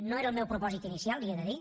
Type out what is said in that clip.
no era el meu propòsit inicial li ho he de dir